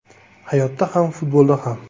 Hayotda ham, futbolda ham.